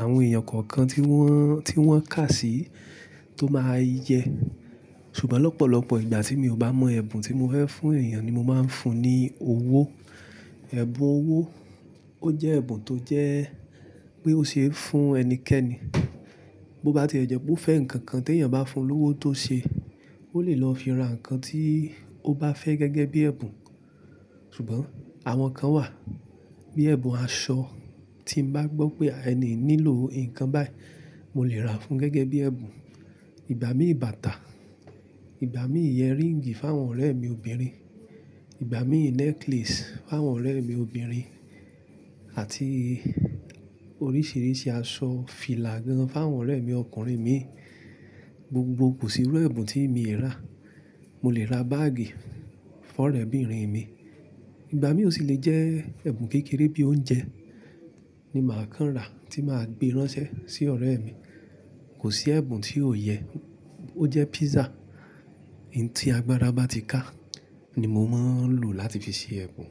àwọn èèyàn kọ̀ọ̀kan tí wọ́n, tí wọ́n kà sí tó máa yẹ. Ṣùgbọ́n lọ́pọ̀lọpọ̀ ìgbà tí mi ò bá mọ ẹ̀bùn tí mo fẹ́ fún èèyàn ni mo máa ń fún ní owó. Ẹ̀bùn owó ó jẹ́ ẹ̀bùn tó jẹ́ pé ó ṣe é fún ẹnikẹ́ni. Bí ó bá ti jẹ́ pé ó fẹ́ nǹkan kan tí èèyàn bá fún lówo tó ṣe, ó lè lọ fi ra nǹkan tí ó bá fẹ́ gẹ́gẹ́ bí ẹ̀bùn. Ṣùgbọ́n àwọn kan wà bíi ẹ̀bùn aṣọ, tí mo bá gbọ́ pé ẹni nílò nǹkan báyìí, mo lè ra fún gẹ́gẹ́ bí ẹ̀bùn. Ìgbà mí bàtà, ìgbà mí earríǹgì fún àwọn ọ̀rẹ́ mi obìnrin, ìgbà mí necklace fún àwọn ọ̀rẹ́ mi obìnrin àti oríṣìíríṣìí aṣọ fìlà gan fún àwọn ọ̀rẹ́ mi ọkùnrin mi. Gbogbo kò sí irú ẹ̀bùn tí èmi e rà. Mo lè ra báàgì fún ọ̀rẹ́bìnrin mi. Ìgbà mí ó sì lè jẹ́ ẹ̀bùn kékeré bí i oúnjẹ ni màá kán rà tí màá gbé ránṣẹ́ sí ọ̀rẹ́ mi. Kò sí ẹ̀bùn tí ò yẹ, ó jẹ́ pízza, ohun tí agbára bá ti ká ni mo máa ń lò láti fi ṣe ẹ̀bùn.